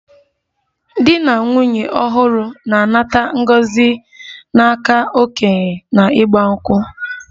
Dị na nwụnye ọhuru na-anata ngọzi n'aka okenye na igba nkwu